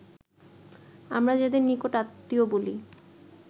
আমরা যাদের নিকট-আত্মীয় বলি